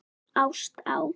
Ást á